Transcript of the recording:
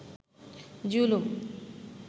জুলুম